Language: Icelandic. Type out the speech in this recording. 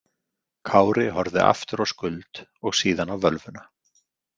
Kári horfði aftur á Skuld og síðan á völvuna.